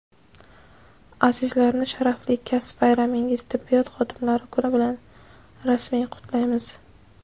azizlarni sharafli kasb bayramingiz – Tibbiyot xodimlari kuni bilan samimiy qutlaymiz.